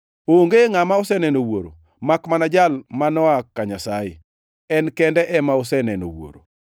Onge ngʼama oseneno Wuoro makmana Jal ma noa ka Nyasaye; En kende ema oseneno Wuoro.